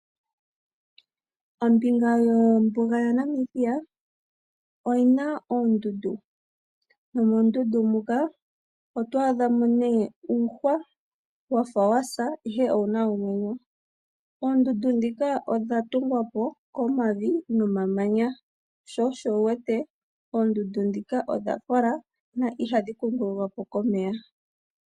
Ombinga yombuga yaNamibia oyi na oondundu. Nomoondundu muka oto adha mo nee uuhwa wafa wasa ihe owu na omwenyo. Oondundu ndhika odha tungwa po komavi nomamanya, sho osho wuwete oondundu ndhika odha kola na ihadhi kungululwa po komeya.